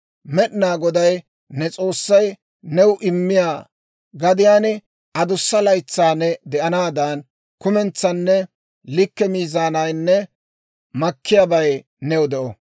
Med'inaa Goday ne S'oossay new immiyaa gadiyaan adussa laytsaa ne de'anaadan kumentsanne likke miizaanaynne makkiyaabay new de'o.